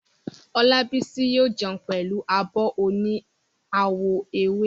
Olábísí yóò jẹun pẹ̀lú abọ́ oní àwọ̀ ewé